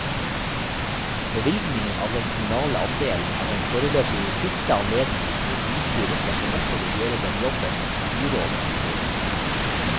Bevilgningen av den kommunale andelen er den foreløpig siste anledningen hvor bystyret ser seg nødt til å gjøre den jobben byrådet skulle gjort.